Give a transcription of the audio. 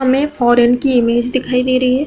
हमें फॉरेन की इमेज दिखाई दे रही है।